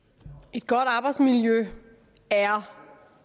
et godt arbejdsmiljø er